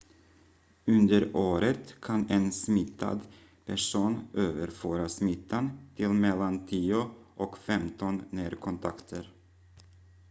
under året kan en smittad person överföra smittan till mellan 10 och 15 närkontakter